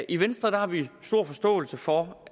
i venstre har vi stor forståelse for